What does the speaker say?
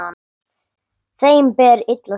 Þeim ber illa saman.